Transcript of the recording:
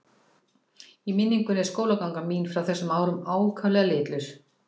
Í minningunni er skólaganga mín frá þessum árum ákaflega litlaus.